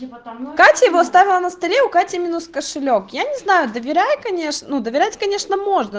катя его оставил на столе у кати минус кошелёк я не знаю доверяй конечно ну доверять конечно можно